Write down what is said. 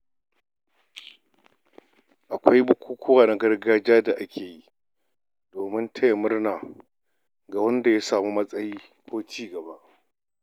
Akwai bukukuwa na gargajiya da ake yi domin taya murna ga wanda ya samu wai matsayi ko cigaba.